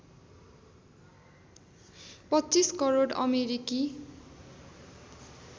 २५ करोड अमेरिकी